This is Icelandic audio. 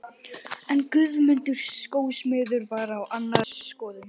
En Guðmundur skósmiður var á annarri skoðun.